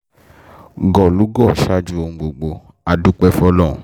gọ̀lúgọ̀ ṣáájú ohun gbogbo á dúpẹ́ fọlọ́run